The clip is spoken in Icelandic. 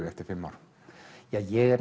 eftir fimm ár ég er